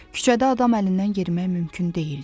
Küçədə adam əlindən yerimək mümkün deyildi.